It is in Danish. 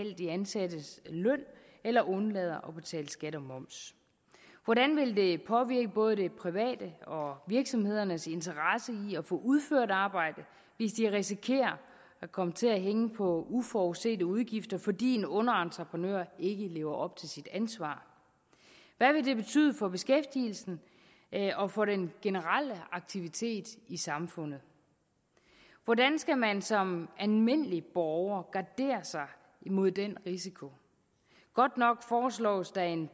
de ansattes løn eller undlader at betale skat og moms hvordan vil det påvirke både det privates og virksomhedernes interesse i at kunne udføre et arbejde hvis de risikerer at komme til at hænge på uforudsete udgifter fordi en underentreprenør ikke lever op til sit ansvar hvad vil det betyde for beskæftigelsen og for den generelle aktivitet i samfundet hvordan skal man som almindelig borger gardere sig mod den risiko godt nok foreslås der en